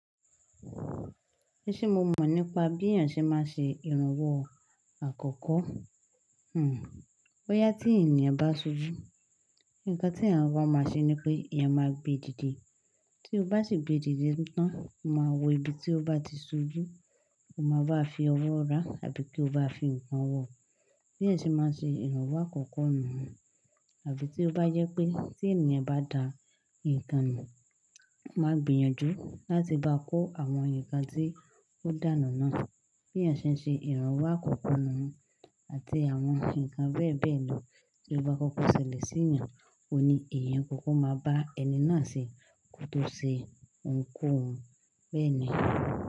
E ni ṣé mo mọ̀ nípa bí èèyàn ṣe má ṣe ìrànwọ́ àkọ́kọ́? Hmm. Boyá tí ènìyàn bá ṣojú, nǹkan tí èèyàn bá máa ṣe ni pé eeyan máa gbé dìde. Tí o bá sì gbé dìde tán, o máa wo ibi tí ó bá ti ṣojú, o máa bá a fi ọwọ́ rá àbí kí o bá a fi ǹkan wọ̀. Bí èeyan ṣe máa ṣe ìrànwọ́ àkọ́kọ́ nuun àbí tí ó bá jẹ́ pé tí ènìyàn bá da nǹkan nù, o máa gbìyànjú láti bá kó àwọn nǹkan tí ó dànù náà. Bí èeyan ṣe ń ṣe ìrànwọ́ àkọ́kọ́ nuun àti àwọn nǹkan bẹ́ẹ̀ bẹ́ẹ̀ lọ tí ó bá kọ́kọ́ ṣẹlẹ̀ sí èèyàn, òuní èèyàn kọ́kọ́ máa bá ẹni náà ṣe kó tó ṣe ohun kohun bẹ́ẹ̀ni.